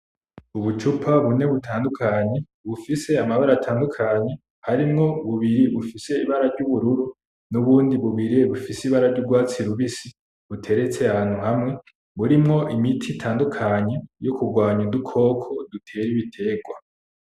Ubucupa bune butandukanye bufise amabara atandukanye harimwo bubiri bufise ibara ry'ubururu nubundi bubiri bufise ibara ry'urwatsi rubisi buteretse ahantu hamwe. Burimwo imiti itandukanye yo kugwanya udukoko dutera ibiterwa.